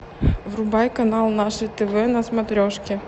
врубай канал наше тв на смотрешке